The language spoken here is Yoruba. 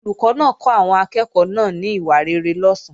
Olùkọ́ náà kọ́ àwọn akẹ́ẹ̀kọ́ náà ní ìwà rere lọ̀sán